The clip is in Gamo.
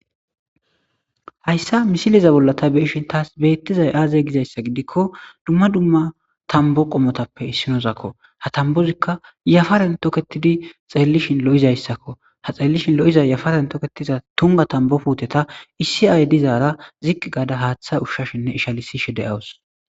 hayssa misileza bolla ta beishin taas beettizay aazey gizayssa gidikko dumma dumma tambo qomotappe issinozakko ha tambozikka yafaren toketidi xeellishin lo7izayssakko ha xellishin lo7iza yafaren toketiza tunga tambopuuteta issi ay dizaara ziqq gaada haaththa ushshashinne ishalisishe de7awus